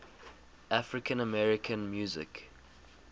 african american music